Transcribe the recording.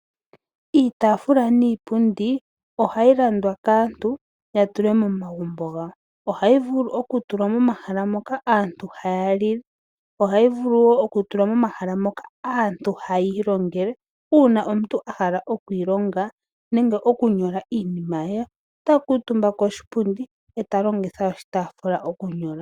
Iitafula niipundi ohayi landwa kaantu ya tule momagumbo gawo. Ohayi vulu okutulwa momahala moka aantu haya lile, ohayi vulu wo okutulwa momahala moka aantu haya ilongele. Uuna omuntu a hala oku ilonga nenge okunyola iinima ye ota kuutumba koshipundi e ta longitha oshitafula okunyola.